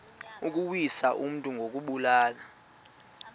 ukuwisa umntu ngokumbulala